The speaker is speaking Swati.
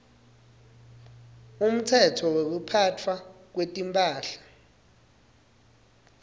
umtsetfo wekuphatfwa kwetimphahla